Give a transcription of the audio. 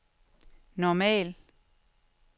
normal